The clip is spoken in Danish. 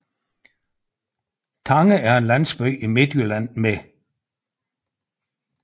Tange er en landsby i Midtjylland med